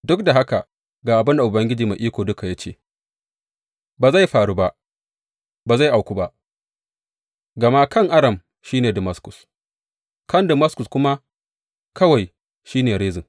Duk da haka ga abin da Ubangiji Mai Iko Duka ya ce, Ba zai faru ba, ba zai auku ba, gama kan Aram shi ne Damaskus, kan Damaskus kuma kawai shi ne Rezin.